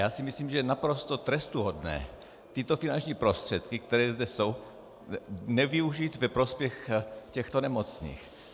Já si myslím, že je naprosto trestuhodné tyto finanční prostředky, které zde jsou, nevyužít ve prospěch těchto nemocných.